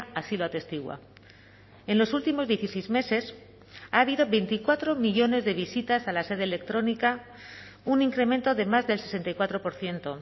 así lo atestigua en los últimos dieciséis meses ha habido veinticuatro millónes de visitas a la sede electrónica un incremento de más del sesenta y cuatro por ciento